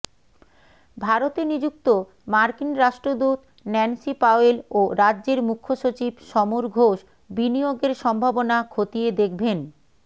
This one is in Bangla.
ভারতে নিযুক্ত মার্কিন রাষ্ট্রদূত ন্যান্সি পাওয়েল ও রাজ্যের মুখ্যসচিব সমর ঘোষ বিনিয়োগের সম্ভাবনা খতিয়ে দেখবেন